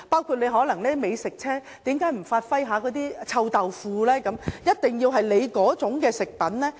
為何美食車不能售賣臭豆腐，一定要售賣指定食品？